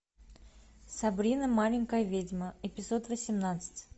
сабрина маленькая ведьма эпизод восемнадцать